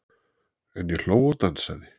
En ég hló og dansaði.